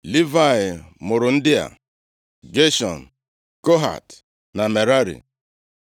Livayị mụrụ ndị a: Geshọn, Kohat na Merari.